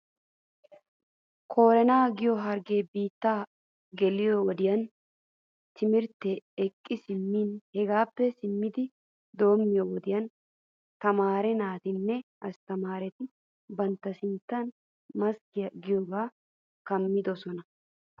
Koronaa giyoo hargee buuttaa geliyoo wodiyan timirtaa eqqi simmis. Hegaappee simmidi doommiyoo wodiyan tamaare naatinne astamaareti bantta sintta maskkiyaa giyoogan kammidosona.